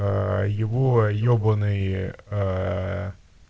его ебанные